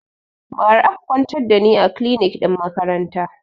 Ba ra aka kwantar da ni a kilinik ɗin makaranta